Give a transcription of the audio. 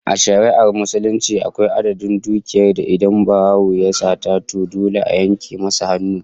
A shari'ar Musulunci, akwai adadin dukiya da idan barawo ya sata, to dole a yanke masa hannu